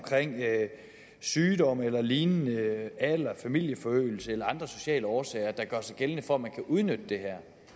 sygdom eller lignende alder familieforøgelse eller andre sociale årsager der gør sig gældende for at man kan udnytte det her